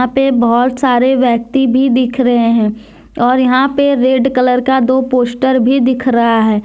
यहाँ पे बहोत सारे व्यक्ति भी दिख रहे हैं और यहां पे रेड कलर का दो पोस्टर भी दिख रहा है।